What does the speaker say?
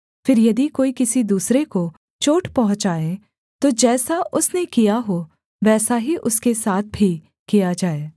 फिर यदि कोई किसी दूसरे को चोट पहुँचाए तो जैसा उसने किया हो वैसा ही उसके साथ भी किया जाए